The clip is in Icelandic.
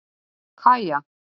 Kaja